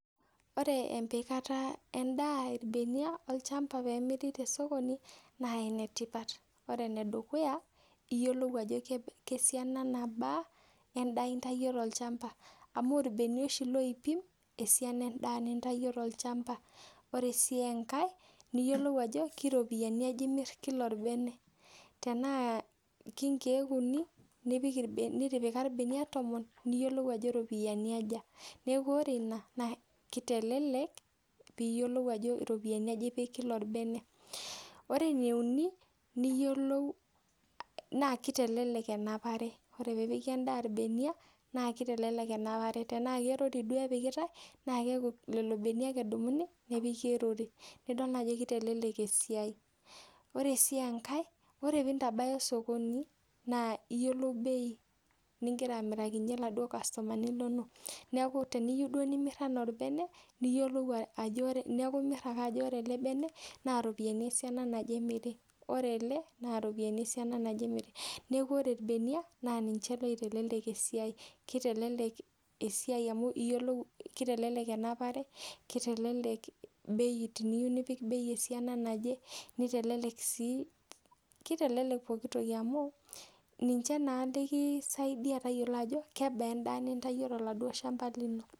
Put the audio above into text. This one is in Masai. oreee empikata endaa ilbeniak olchamba peeyie emiri tosokoni naa entoki etipat oleng koree ene dukuya iyiolou ajoo kebaaa esiana endaa nintyio too olchamba amu irbenia oshii loipim esiana endaa nintayo too olchamba koree siii enkae niyioluo ajoo karoopiyiani ajaa imiir kila olbene tenaa kaa nkek unii nitipika ilbeniak tomon niyiolou ajoo kajaa nena ropiyiani koree ene uni naa kitelelek enapare tenepiki endaa ilbeniak naa kitelelk enapare tenaa koo orori duo epikitae naa lelo beniak edumuni apiiik olori nidool naajo kitelek esiai oree sii enkae koree pii ntabaya sokoni naa iyiolou beii nigira amirakinye laa duo kastomani linonok niaku teniyieu duo nimiir ena olbene niaku iyioluo akee ajoo koree ele bene naa iropiyiana esiana naje niaku kitelelk esia oo bei esiana naje naa kitelelek sii pooki toki nikisaidia tayiolo ajoo kebaa edaa ninatwuo too laduo shamba lino.